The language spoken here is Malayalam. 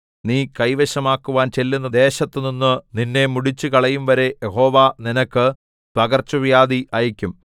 നീ കൈവശമാക്കുവാൻ ചെല്ലുന്ന ദേശത്തു നിന്നു നിന്നെ മുടിച്ചുകളയുംവരെ യഹോവ നിനക്ക് പകർച്ചവ്യാധി അയയ്ക്കും